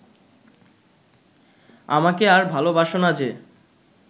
আমাকে আর ভালোবাসো না যে